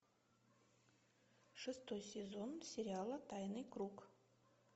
шестой сезон сериала тайный круг